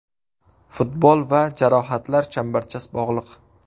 Futbol va jarohatlar chambarchas bog‘liq.